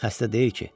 Xəstə deyil ki?